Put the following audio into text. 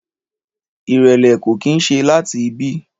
Ìrẹ̀lẹ̀ ko kín se lati ibi